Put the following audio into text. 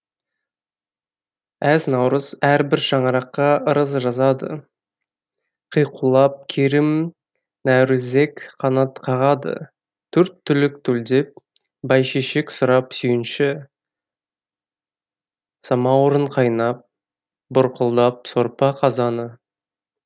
әз наурыз әрбір шаңыраққа ырыс жазады қиқулап керім нәурізек қанат қағады төрт түлік төлдеп бәйшешек сұрап сүйінші самаурын қайнап бұрқылдап сорпа қазаны